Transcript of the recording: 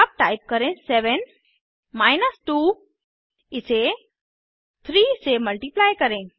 अब टाइप करें 7 माइनस 2 इसे 3 से मल्टिप्लाई करें